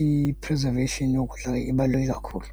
i-preservation yokudla ibaluleke kakhulu.